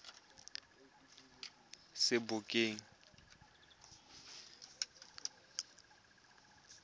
sebokeng